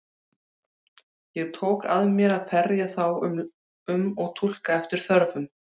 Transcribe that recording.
Ég tók að mér að ferja þá um og túlka eftir þörfum.